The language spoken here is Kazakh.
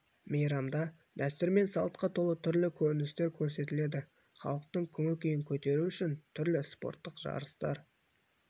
мейрамда дәстүр мен салтқа толы түрлі көріністер көрсетіледі халықтың көңіл-күйін көтеру үшін түрлі спорттық жарыстар